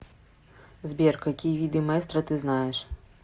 сбер какие виды маэстро ты знаешь